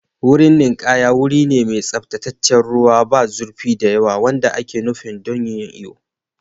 Wurin ninkaya wuri ne mai tsaftataccen ruwa, ba zurfi da yawa wanda ake nufi don yin iyo.